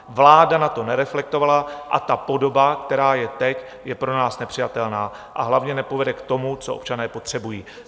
Vláda na to nereflektovala a ta podoba, která je teď, je pro nás nepřijatelná, a hlavně nepovede k tomu, co občané potřebují."